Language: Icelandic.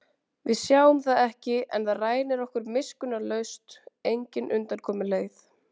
Við sjáum það ekki en það rænir okkur miskunnarlaust, engin undankomuleið.